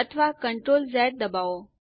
અથવા CTRL Z દબાવો